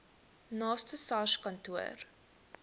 naaste sars kantoor